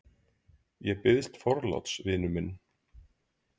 Ég biðst forláts, vinur minn.